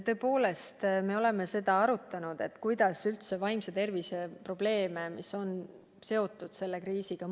Tõepoolest, me oleme seda arutanud, kuidas üldse mõõta vaimse tervise probleeme, mis on seotud selle kriisiga.